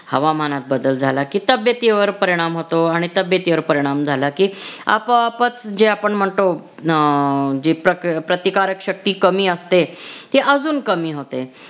हवामानात बदल झाला की तब्बेतीवर परिणाम होतो आणि तब्बेतीवर परिणाम झाला की आपोआपच जे आपण म्हणतो अं जी प्रतिकारक शक्ती कमी असते ती अजून कमी होते